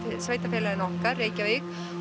sveitarfélaginu okkar Reykjavík